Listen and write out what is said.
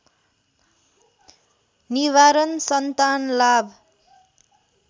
निवारण सन्तान लाभ